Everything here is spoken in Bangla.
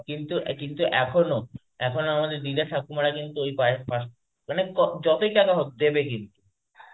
কিন্তু কিন্তু এখনো, এখনো আমাদের দিদা ঠাকুমারা কিন্তু মানে ক যতই টাকা হোক দেবে কিন্তু.